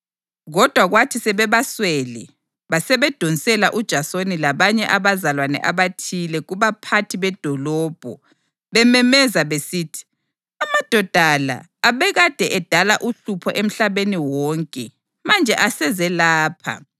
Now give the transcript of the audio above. Kodwa kwathi sebebaswele basebedonsela uJasoni labanye abazalwane abathile kubaphathi bedolobho bememeza besithi: “Amadoda la abekade edala uhlupho emhlabeni wonke manje aseze lapha,